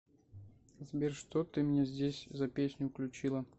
сбер что ты мне здесь за песню включила